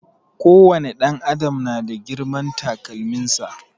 Ko wani ɗan adam na da girman takalmin sa